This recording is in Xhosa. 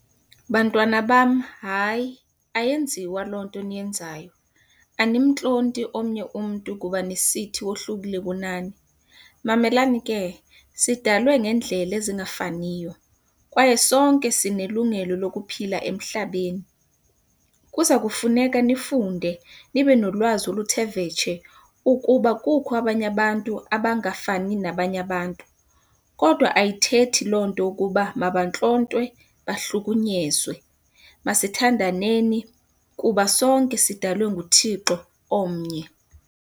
Bantwana bam, hayi. Ayenziwa loo nto niyenzayo, animtlonti omnye umntu kuba nisithi wohlukile kunani. Mamelani ke, sidalwe ngeendlela ezingafaniyo kwaye sonke sinelungelo lokuphila emhlabeni. Kuza kufuneka nifunde nibe nolwazi oluthe vetshe ukuba kukho abanye abantu abangafani nabanye abantu. Kodwa ayithethi loo nto ukuba mabantlontwe bahlukunyezwe. Masithandaneni kuba sonke sidalwe nguThixo omnye.